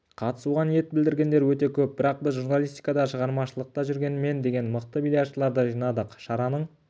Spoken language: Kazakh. қатысуға ниет білдіргендер өте көп бірақ біз журналистикада шығармашылықта жүрген мен деген мықты бильярдшыларды жинадық шараның